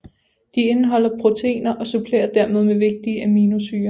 De indeholder proteiner og supplerer dermed med vigtige aminosyrer